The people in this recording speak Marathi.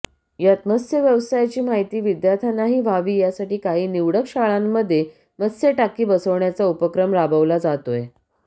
यात मत्स्य व्यवसायाची माहिती विद्यार्थ्यांनाही व्हावी यासाठी काही निवडक शाळांमध्ये मत्स्यटाकी बसवण्याचा उपक्रम राबवला जातोय